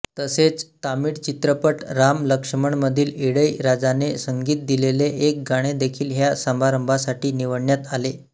तसेच तामिळ चित्रपट राम लक्ष्मणमधील इळैयराजाने संगीत दिलेले एक गाणे देखील ह्या समारंभासाठी निवडण्यात आले